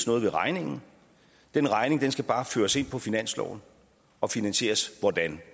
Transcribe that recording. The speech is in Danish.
nogen regning den regning skal bare føres ind på finansloven og finansieres hvordan